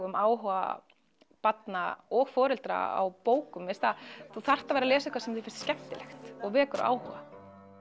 um áhuga barna og foreldra á bókum þú þarft að vera lesa eitthvað sem þér finnst skemmtilegt og vekur áhuga